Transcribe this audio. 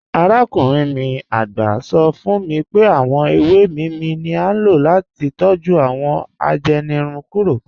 Àràkùnrin mi àgbá sọ̀ fún mí pé awọn èwé níímí ni à ló láti tọ́jú awọn ajẹ́nìrùn kúrò.